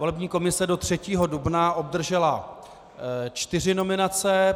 Volební komise do 3. dubna obdržela čtyři nominace.